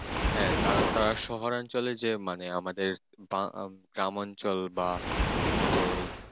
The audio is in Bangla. হ্যাঁ কারণ তারা শহর অঞ্চলে যে মানে আমাদের বা গ্রাম অঞ্চল বা এই যে